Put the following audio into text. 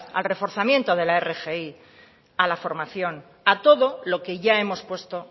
al reforzamiento de la rgi a la formación a todo lo que ya hemos puesto